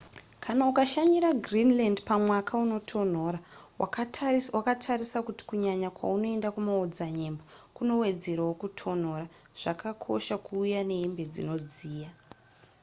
kana ukashanyira greenland pamwaka unotonhora wakatarisa kuti kunyanya kwaunoenda kumaodzanyemba kunowedzerawo kutonhora zvakakosha kuuya nehembe dzonodziya